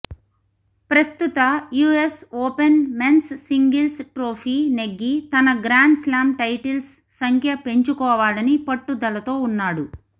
ప్రస్తుత US Open men's singles trophy నెగ్గి తన గ్రాండ్స్లామ్ టైటిల్స్ సంఖ్య పెంచుకోవాలని పట్టుదలతో ఉన్నాడు